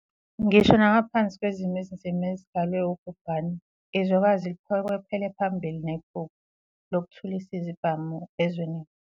Ngisho nangaphansi kwezimo ezinzima ezidalwe ubhubhane, izwekazi liphokophele phambili nephupho 'lokuthulisa izibhamu' ezwenikazi.